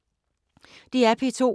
DR P2